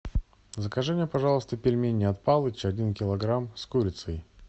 закажи мне пожалуйста пельмени от палыча один килограмм с курицей